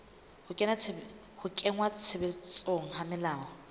ho kenngwa tshebetsong ha melao